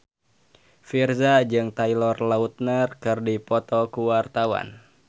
Virzha jeung Taylor Lautner keur dipoto ku wartawan